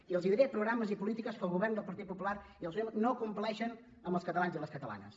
i els diré programes i polítiques que el govern del partit popular i el senyor montoro no compleixen amb els catalans i les catalanes